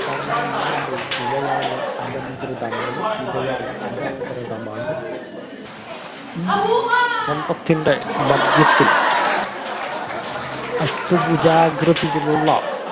വർണ്ണ marble ഇവയാണ് അലംകൃതമാണ് ഇവയാണ് അലംകൃതമാണ് ഈ സ്തംഭത്തിന്റെ മധ്യത്തിൽ അഷ്ട പൂജാകൃതിയിലുള്ള